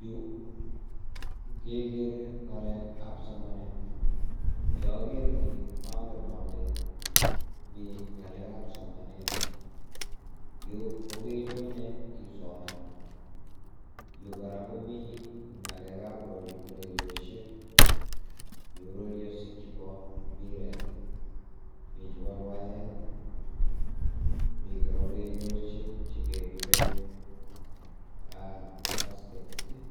Yu kekere ngalek ab somanet, toker nii angen ale Mii ngalek ab somanet yu, yu kokenyone isoman, yu kora komi ngalekab ureriosiek, mi ureriosiek chebo mpiret, mi chebo ruaet, mi kora ureriosiek jekebire basketball,